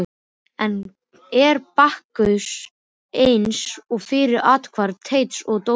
Enn er Bakkus eins og fyrr athvarf Teits og Dóra.